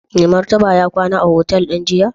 Mai Martaba ya kwana a otal din jiya?